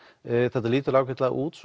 þetta lítur ágætlega út